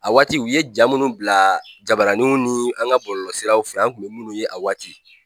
A waati u ye ja minnu bila jabaraninw ni an ka bololɔsiraw fɛ, an kun bɛ minnu ye a waati.